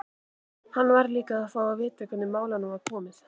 Hann varð líka að fá að vita hvernig málum var komið.